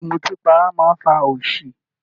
Ìmùtí para máa ń fa òṣì